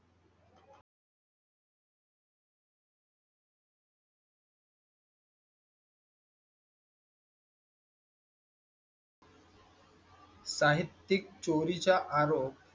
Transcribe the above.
साहित्यिक चोरी चा आरोप.